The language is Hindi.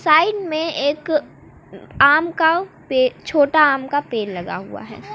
साइड में एक आम का छोटा आम का पेड़ लगा हुआ है।